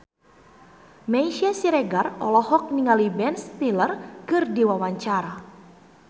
Meisya Siregar olohok ningali Ben Stiller keur diwawancara